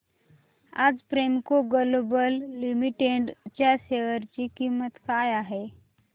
आज Premco global limited च्या share ची किंमत काय आहे